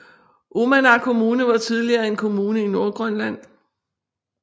Uummannaq Kommune var tidligere en kommune i Nordgrønland